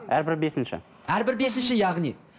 әрбір бесінші әрбір бесінші яғни